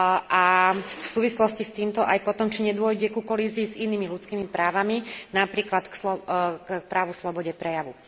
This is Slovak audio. A v súvislosti s týmto aj potom či nedôjde ku kolízii s inými ľudskými právami, napríklad s právom na slobodu prejavu.